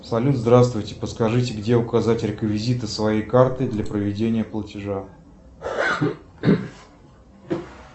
салют здравствуйте подскажите где указать реквизиты своей карты для проведения платежа